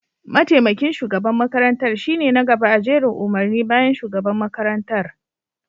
mataimakin shugaban makarantar shine na gaba a jerin umarni bayan shugaban makarantar